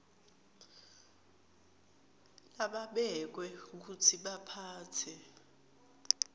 lababekwe kutsi baphatse